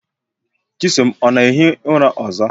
Chisom ọ na-ehi ụra ọzọ?